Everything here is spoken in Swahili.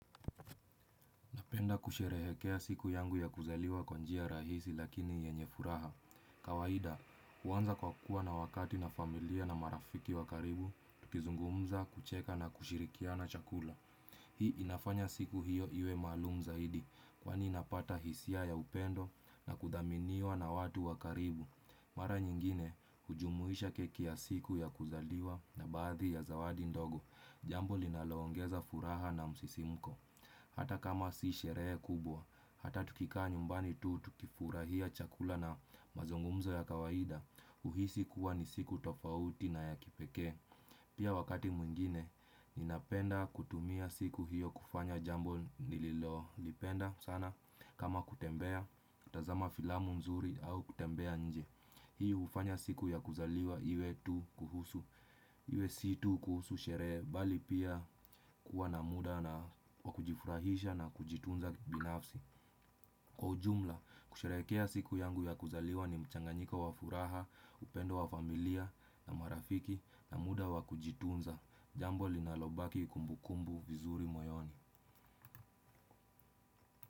Napenda kusherehekea siku yangu ya kuzaliwa kwa njia rahisi lakini yenye furaha. Kawaida, huanza kwa kuwa na wakati na familia na marafiki wa karibu, tukizungumza, kucheka na kushirikiana chakula. Hii inafanya siku hiyo iwe malumu zaidi, kwani napata hisia ya upendo na kuthaminiwa na watu wa karibu. Mara nyingine, hujumuisha keki ya siku ya kuzaliwa na baadhi ya zawadi ndogo. Jambo linaloongeza furaha na msisimuko. Hata kama si sherehe kubwa, hata tukikaa nyumbani tu, tukifurahia chakula na mazungumzo ya kawaida, uhisi kuwa ni siku tofauti na ya kipekee. Pia wakati mwingine, ninapenda kutumia siku hiyo kufanya jambo nililolipenda sana kama kutembea, kutazama filamu nzuri au kutembea nje Hii hufanya siku ya kuzaliwa iwe tu kuhusu, iwe si tu kuhusu sherehe, bali pia kuwa na muda na wa kujifurahisha na kujitunza binafsi. Kwa ujumla, kusherehekea siku yangu ya kuzaliwa ni mchanganyiko wa furaha, upendo wa familia na marafiki na muda wa kujitunza. Jambo linalobaki kumbukumbu vizuri moyoni.